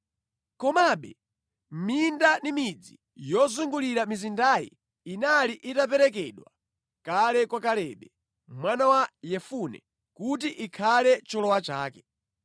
Komabe minda ndi midzi yozungulira mizindayi inali itaperekedwa kale kwa Kalebe, mwana wa Yefune kuti ikhale cholowa chake.